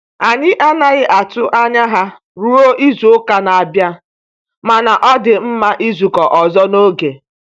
Anyị anaghị atụ anya ha ruo izu-uka na-abịa, mana ọ dị mma izukọ ọzọ n'oge.